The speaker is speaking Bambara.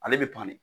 Ale bɛ to de